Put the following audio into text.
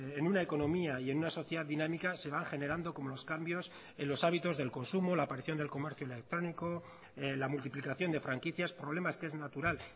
en una economía y en una sociedad dinámica se van generando como los cambios en los hábitos del consumo la aparición del comercio electrónico la multiplicación de franquicias problemas que es natural